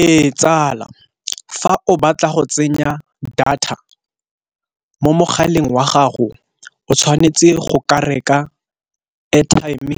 Ee tsala, fa o batla go tsenya data mo mogaleng wa gago o tshwanetse go ka reka airtime,